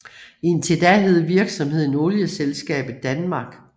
Indtil da hed virksomheden Olieselskabet Danmark